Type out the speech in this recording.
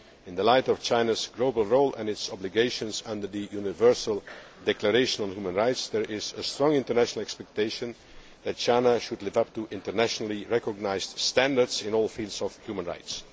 rights. In the light of China's global role and its obligations under the Universal Declaration of Human Rights, there is a strong international expectation that China should live up to internationally recognised standards in all fields of